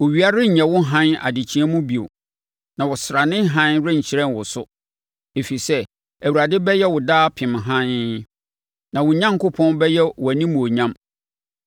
Owia renyɛ wo hann adekyeɛ mu bio na ɔsrane hann renhyerɛn wo so, ɛfiri sɛ, Awurade bɛyɛ wo daapem hann, na wo Onyankopɔn bɛyɛ wo animuonyam.